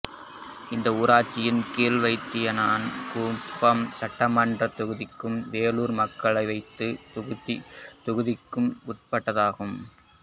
இந்த ஊராட்சி கீழ்வைத்தியணான்குப்பம் சட்டமன்றத் தொகுதிக்கும் வேலூர் மக்களவைத் தொகுதிக்கும் உட்பட்டதாகும்